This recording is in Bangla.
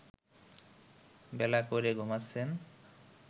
বেলা করে ঘুমাচ্ছেন